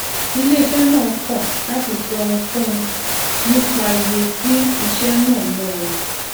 iléiṣẹ náà kò láti sọ ohunkóhun nípa iye tí iṣé náà ná wọn